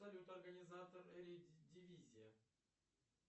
салют организатор дивизия